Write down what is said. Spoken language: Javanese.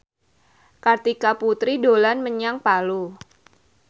Kartika Putri dolan menyang Palu